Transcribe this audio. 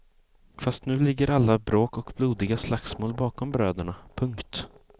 Fast nu ligger alla bråk och blodiga slagsmål bakom bröderna. punkt